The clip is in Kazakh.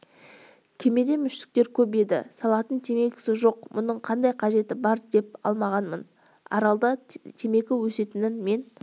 кемеде мүштіктер көп еді салатын темекісі жоқ мұның қандай қажеті бар деп алмағанмын аралда темекі өсетінін мен